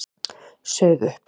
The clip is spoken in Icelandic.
Sauð upp.